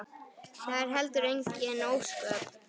Það eru heldur engin ósköp.